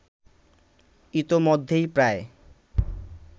ইতোমধ্যেই প্রায়